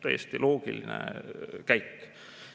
Täiesti loogiline käik.